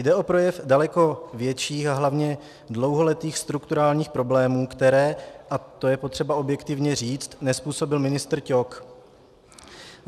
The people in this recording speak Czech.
Jde o projev daleko větších a hlavně dlouholetých strukturálních problémů, které, a to je potřeba objektivně říct, nezpůsobil ministr Ťok.